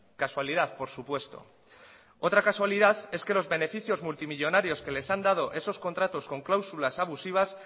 casualidad por supuesto otra casualidad es que los beneficios multimillónarios que les han dado esos contratos con cláusulas abusivas